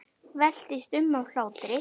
Veltist um af hlátri.